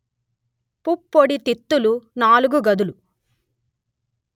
పుప్పొడి తిత్తులు నాలుగు గదులు